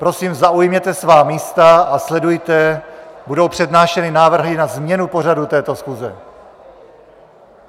Prosím, zaujměte svá místa a sledujte, budou přednášeny návrhy na změnu pořadu této schůze.